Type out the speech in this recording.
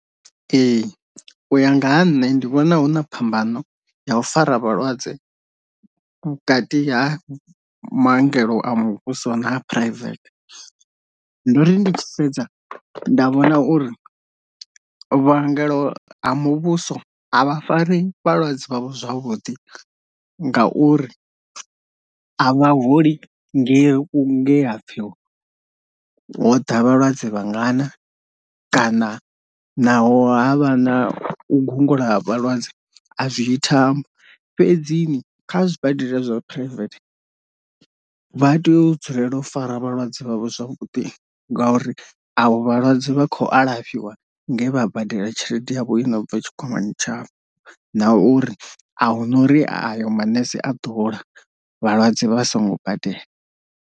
Ee u ya nga ha nṋe ndi vhona huna phambano ya u fara vhalwadze vhukati ha maongelo a muvhuso na private, ndo ri ndi sedza nda vhona uri vhangela ha muvhuso a vha fari vhalwadze vhavho zwavhuḓi ngauri a vha holi nge nge ha pfhi ho ḓa vhalwadze vhangana kana naho havha na u gungula ha vhalwadze a zwiyi thambo, fhedzi kha zwibadela zwa private vha tea u dzulela u fara vhalwadze vhavho zwavhuḓi ngauri ahu vhalwadze vha khou alafhiwa nge vha badela tshelede yavho yo no bva tshikwamani tshavho nauri ahuna uri ayo maṋese a ḓo hola avho vhalwadze vha songo badela.